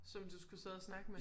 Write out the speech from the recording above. Som du skulle sidde og snakke med?